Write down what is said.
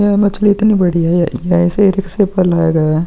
यह मछली इतनी बड़ी है या ऐसे ही रिक्शे पर लाया गया है।